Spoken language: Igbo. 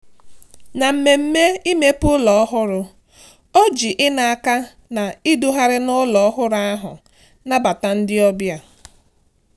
Na mmemme imepe ụlọ ọhụrụ, o ji ina aka ná idughari n'ụlọ ọ́hụ́rü ahụ nabata ndị ọbịa.